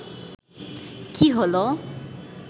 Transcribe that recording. কী হল